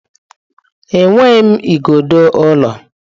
Enweghị m igodo ụlọ.